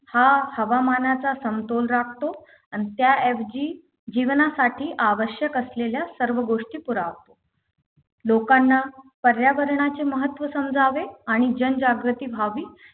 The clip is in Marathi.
हा हवामानाचा समतोल राखतो आणि त्या ऐवजी जीवनासाठी आवश्यक असलेल्या सर्व गोष्टी पुरवतो लोकांना पर्यावरणाचे महत्त्व समजावे आणि जनजागृती व्हावी